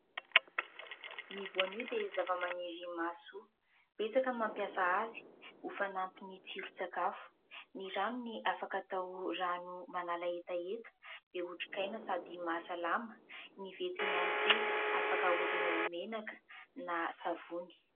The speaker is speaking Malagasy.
Ny voanio dia zavamaniry mahasoa. Betsaka no mampiasa azy ho fanampin'ny tsiron-tsakafo. Ny ranony afaka atao rano manala hetaheta be otrikaina, sady mahasalama. Ny vetiny ihany koa afaka haodina ho menaka na savony.